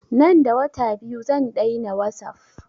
Nan da wata biyu zan daina wasup